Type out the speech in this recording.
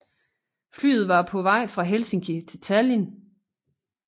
Flyet var på vej fra Helsinki til Tallinn